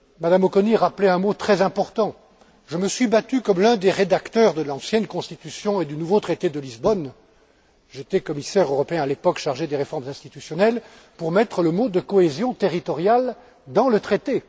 Mme Auconie rappelait un mot très important je me suis battu comme l'un des rédacteurs de l'ancienne constitution et du nouveau traité de Lisbonne j'étais commissaire européen à l'époque, chargé des réformes institutionnelles pour mettre les mots cohésion territoriale dans le traité.